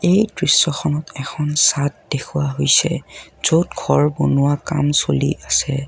এই দৃশ্যখনত এখন চাদ দেখুওৱা হৈছে য'ত ঘৰ বনোৱা কাম চলি আছে।